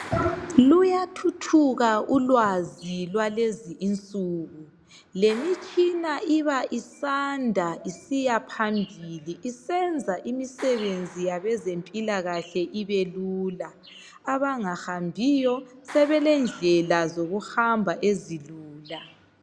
Luyathuthuka ulwazi lwalezinsuku lemitshina iba isandla isiyaphambili isenza imisebenzi yabezempilakahle ibelula abangahambiyo sebelendlela ezokuhamba ezilula.